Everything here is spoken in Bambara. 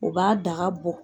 O b'a daga bɔ.